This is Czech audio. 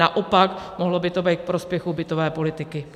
Naopak, mohlo by to být ku prospěchu bytové politiky.